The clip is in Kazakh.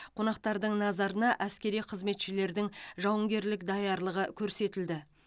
қонақтардың назарына әскери қызметшілердің жауынгерлік даярлығы көрсетілді